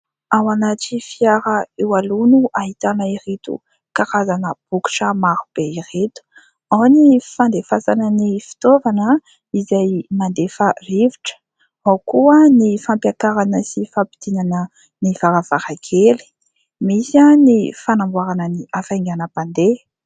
Ao anaty fiara eo aloha no ahitana ireto karazana bokitra maro be ireto. Ao ny fandefasana ny fitaovana izay mandefa rivotra, ao koa ny fampiakarana sy fampidinana ny varavarankely. Misy ny fanamboarana ny hafainganam-pandeha.